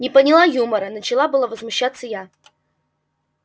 не поняла юмора начала было возмущаться я